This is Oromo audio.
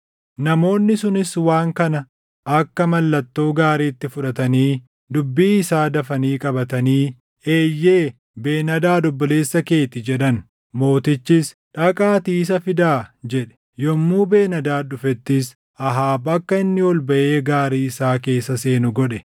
Namoonni sunis waan kana akka mallattoo gaariitti fudhatanii dubbii isaa dafanii qabatanii “Eeyyee, Ben-Hadaad obboleessa kee ti!” jedhan. Mootichis, “Dhaqaatii isa fidaa” jedhe. Yommuu Ben-Hadaad dhufettis Ahaab akka inni ol baʼee gaarii isaa keessa seenu godhe.